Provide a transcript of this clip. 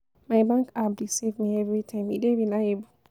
My bank app dey save me everytime, e dey reliable.